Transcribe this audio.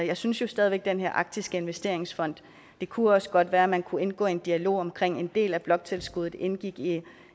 jeg synes jo stadig væk at den her arktiske investeringsfond det kunne også godt være man kunne indgå i en dialog om at en del af bloktilskuddet indgik i